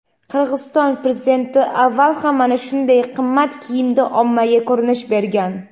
Qirg‘iziston Prezidenti avval ham mana shunday qimmat kiyimda ommaga ko‘rinish bergan.